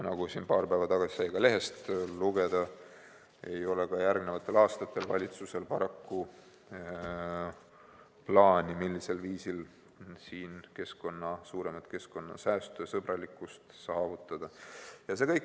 Nagu paar päeva tagasi sai lehest lugeda, ei ole ka järgnevatel aastatel valitsusel paraku plaani, millisel viisil siin suuremat keskkonnasäästu ja -sõbralikkust saavutada.